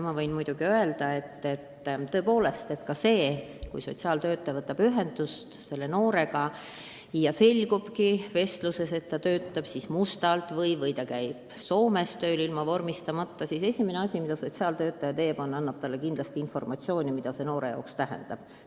Ma võin öelda, et kui sotsiaaltöötaja võtab ühendust mõne noorega ja vestluses selgub, et ta töötab mustalt või käib Soomes tööl ilma vormistamata, siis esimene asi, mida sotsiaaltöötaja teeb, on see, et ta annab kindlasti informatsiooni, mida see noore jaoks tähendab.